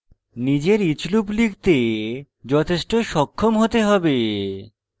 নিজের each loop লিখতে যথেষ্ট সক্ষম হতে হবে